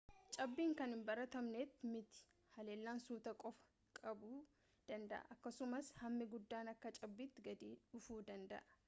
cabbiin kan hin baratamnee miti hallayyaan suutaan qofa qabuu danda'a akkasumas hammi guddaan akka cabbiitti gadi dhufuu danda'a